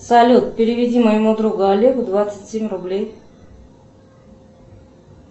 салют переведи моему другу олегу двадцать семь рублей